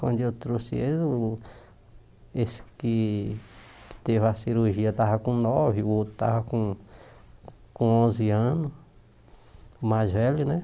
Quando eu trouxe eles, o esse que teve a cirurgia estava com nove, o outro estava com com onze anos, o mais velho, né?